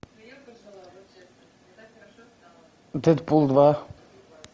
дэдпул два